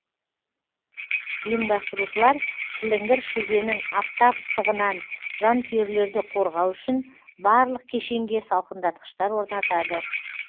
ұйымдастырушылар шіліңгір шілденің аптап ыстығынан жанкүйерлерді қорғау үшін барлық кешенге салқындатқыштар орнатады